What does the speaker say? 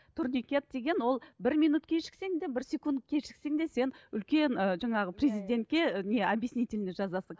турникет деген ол бір минут кешіксең де бір секунд кешіксең де сен үлкен ы жаңағы президентке не обьяснительный жазасың